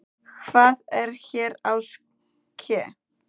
Hvað er hér að ske!?